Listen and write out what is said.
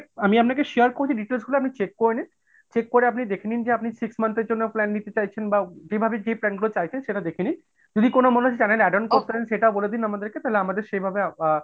আমি আপনাকে share করি details গুলো আপনি check করে নিন? check করে আপনি দেখেনিন যে আপনি six month এর জন্য plan নিতে চাইছেন বা যেভাবে যে plan গুলো চাইছেন সেটা দেখে নিন। যদি কোন মনে হচ্ছে যে channel add-on করতে হবে সেটাও বলে দিন আমাদেরকে তাহলে আমাদের সেভাবে আ,